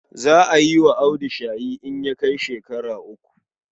Za a yi wa Audu shayi in ya kai shekara uku.